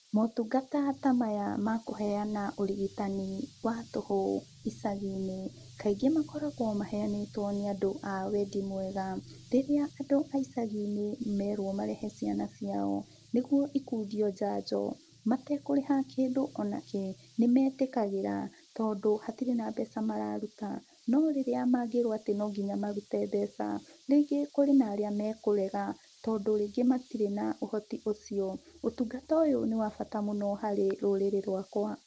Motungata ta maya ma kũheana ũrigitani wa tũhũ icagi-inĩ kaingĩ makoragũo maheanĩtwo nĩ andũ a wendi mwega. Rĩrĩa andũ a icagi-inĩ merwo marehe ciana ciao niguo ikundio njanjo matekũrĩha kindũ o na kĩ nĩmetĩkagĩra tondũ hatirĩ na mbeca mararuta. No rĩrĩa mangĩrwo atĩ no nginya marute mbeca rĩngĩ kũrĩ na arĩa mekũrega tondũ rĩngĩ matirĩ na ũhoti ũcio. Ũtungata ũyũ nĩ wa bata mũno harĩ rũrĩrĩ rwakwa.